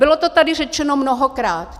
Bylo to tady řečeno mnohokrát.